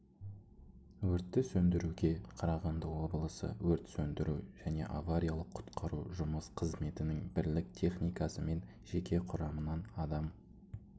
өртті сөндіруге қарағанды облысы өрт сөндіру және авариялық-құтқару жұмыс қызметінің бірлік техникасы мен жеке құрамынан адам